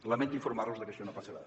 lamento informar los que això no passarà